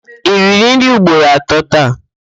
I riri nri ugboro atọ taa?